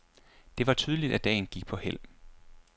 Det var tydeligt, at dagen gik på hæld.